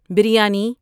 biryani